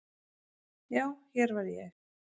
Já, hér var ég.